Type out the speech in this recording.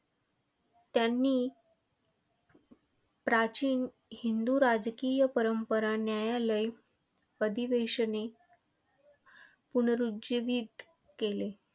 त्यांनी प्राचीन हिंदू राजकीय परंपरा, न्यायालय, अधिवेशने पुनःरुज्जीवीत केली.